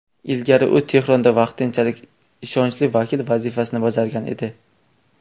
Ilgari u Tehronda vaqtinchalik ishonchli vakil vazifasini bajargan edi.